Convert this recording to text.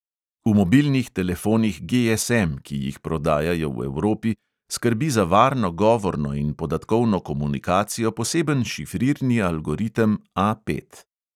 V mobilnih telefonih GSM, ki jih prodajajo v evropi, skrbi za varno govorno in podatkovno komunikacijo poseben šifrirni algoritem A pet.